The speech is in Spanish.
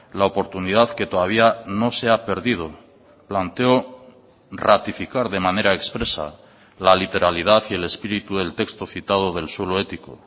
la oportunidad que todavía no se ha perdido planteo ratificar de manera expresa la literalidad y el espíritu del texto citado del suelo ético